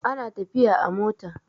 ana tafiya a mota